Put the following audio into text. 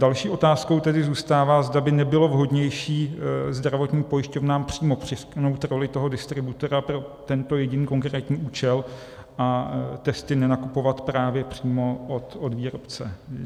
Další otázkou tedy zůstává, zda by nebylo vhodnější zdravotním pojišťovnám přímo přiřknout roli toho distributora pro tento jediný konkrétní účel a testy nenakupovat právě přímo od výrobce.